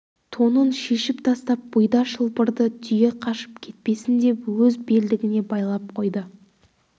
тонын шешіп тастап бұйда шылбырды түйе қашып кетпесін деп өз белдігіне байлап қойды